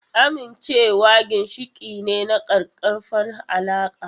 Amincewa ginshiƙi ne na ƙaƙƙarfan alaƙa.